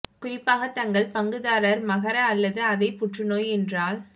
குறிப்பாக தங்கள் பங்குதாரர் மகர அல்லது அதே புற்றுநோய் என்றால்